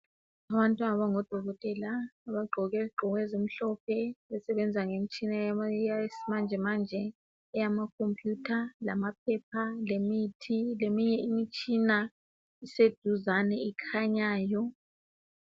Abantu abangabodokotela, abagqoke izigqoko ezimhlophe abasebenza ngemitshina yesimanjemanje eyamakhomphiyutha, lamaphepha, lemithi, leminye imitshina iseduzane ekhanyayo.